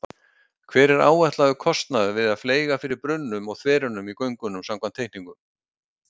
Hver er áætlaður kostnaður við að fleyga fyrir brunnum og þverunum í göngunum samkvæmt teikningum?